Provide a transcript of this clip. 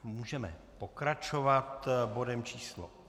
Můžeme pokračovat bodem číslo